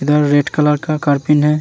इधर red colour का करपीन है।